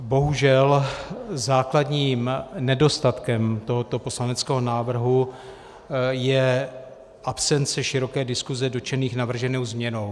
Bohužel základním nedostatkem tohoto poslaneckého návrhu je absence široké diskuse dotčených navrženou změnou.